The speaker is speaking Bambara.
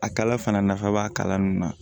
A kala fana nafa b'a kalan nunnu na